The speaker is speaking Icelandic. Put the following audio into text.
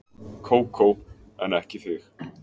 Kókó en ekki þig.